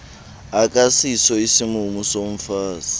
akasiso isimumu somfazi